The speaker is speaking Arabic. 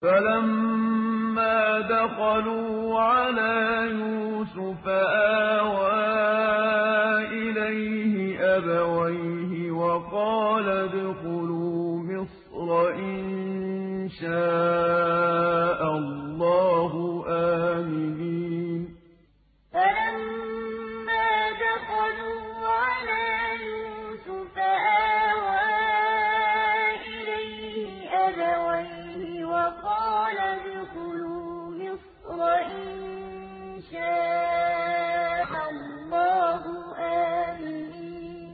فَلَمَّا دَخَلُوا عَلَىٰ يُوسُفَ آوَىٰ إِلَيْهِ أَبَوَيْهِ وَقَالَ ادْخُلُوا مِصْرَ إِن شَاءَ اللَّهُ آمِنِينَ فَلَمَّا دَخَلُوا عَلَىٰ يُوسُفَ آوَىٰ إِلَيْهِ أَبَوَيْهِ وَقَالَ ادْخُلُوا مِصْرَ إِن شَاءَ اللَّهُ آمِنِينَ